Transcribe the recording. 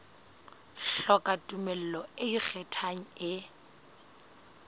hloka tumello e ikgethang e